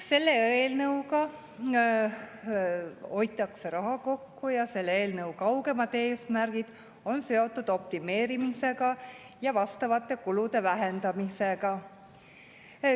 Selle eelnõuga hoitakse raha kokku ja selle eelnõu kaugemad eesmärgid on seotud optimeerimisega ja vastavate kulude vähendamisega.